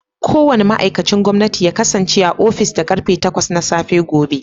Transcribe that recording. Kowane ma'aikacin gwamnati ya kasance a ofis da karfe takwas na safe gobe